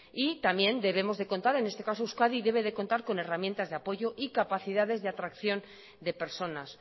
y también en este caso euskadi debe de contar con herramientas de apoyo y capacidades de atracción de personas